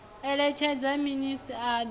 eletshedza minis a doa na